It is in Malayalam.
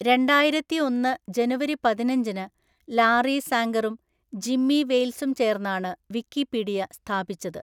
രണ്ടായിരത്തി ഒന്നു ജനുവരി പതിനഞ്ചിന് ലാറി സാംഗറും ജിമ്മി വെയിൽസും ചേർന്നാണ് വിക്കിപീഡിയ സ്ഥാപിച്ചത്.